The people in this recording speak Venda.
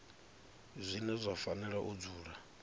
zwine zwa fanela u dzula